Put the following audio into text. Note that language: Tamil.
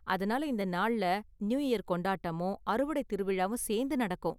அதனால இந்த நாள்ல நியூ இயர் கொண்டாட்டமும், அறுவடை திருவிழாவும் சேந்து நடக்கும்.